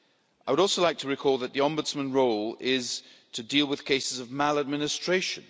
I would also like to recall that the Ombudsman's role is to deal with cases of maladministration.